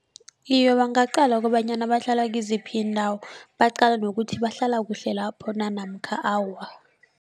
Iye bangaqala kobanyana bahlala kiziphi iindawo baqala nokuthi bahlala kuhle lapho na namkha awa.